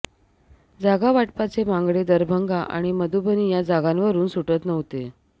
जागावाटपाचे मांगडे दरभंगा आणि मधुबनी या जागांवरून सुटत नव्हते